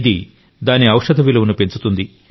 ఇది దాని ఔషధ విలువను పెంచుతుంది